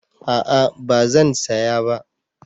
A'a ba zan saya ba